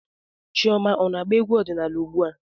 Chioma ọ na-agba egwú ọdịnaala ugbu a?